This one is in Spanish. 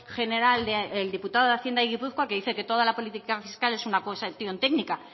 general el diputado de hacienda de gipuzkoa que dice que toda la política fiscal es una cuestión técnica